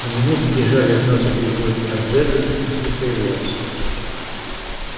но минуты бежали одна за другой а джералд не появлялся